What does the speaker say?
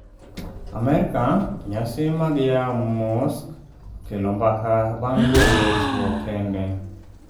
Amerka, nyasi mag yawo mosque okelo mbaka bang' luongo chwo kende